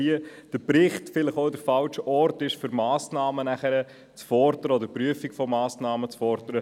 Der Bericht ist der falsche Ort, um die Prüfung von Massnahmen zu fordern.